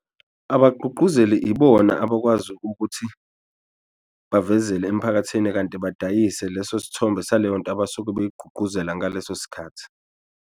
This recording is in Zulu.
Abagqugquzeli ibona abakwazi ukuthi bavezele emphakathini kanti badayise leso sithombe saleyo nto abasuke beyigqugquzela ngaleso sikhathi.